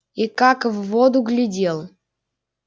и как в воду глядел